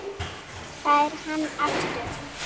Það er hann aftur!